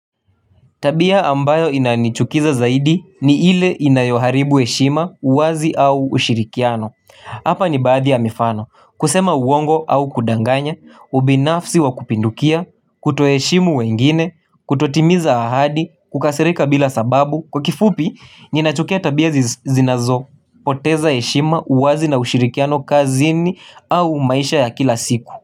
Tabia ambayo inanichukiza zaidi ni ile inayoharibu heshima uwazi au ushirikiano Hapa ni baadhi ya mifano, kusema uwongo au kudanganya, ubinafsi wa kupindukia, kuto heshimu wengine, kutotimiza ahadi, kukasirika bila sababu Kwa kifupi, ninachukia tabia zinazo, poteza heshima uwazi na ushirikiano kazini au maisha ya kila siku.